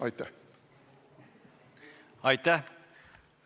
Aitäh!